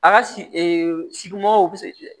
A ka sigimɔgɔw be se